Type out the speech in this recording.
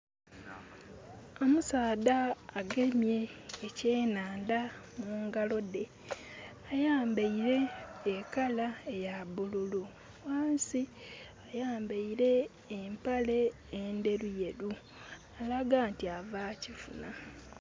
Omusaadha agemye ekyenandha mungalo dhe. Ayambaire e kala eya bululu, wansi. Ayambaire empale enderu yeru alaga nti avakyaala